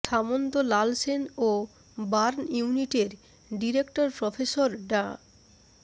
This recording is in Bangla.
সামন্ত লাল সেন ও বার্ন ইউনিটের ডিরেক্টর প্রফেসর ডা